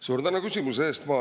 Suur tänu küsimuse eest!